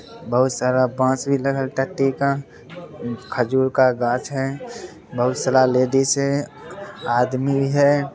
बहुत सारा बॉस भी खजूर का गाछ है | बहुत सारा लेडीज है | आदमी है |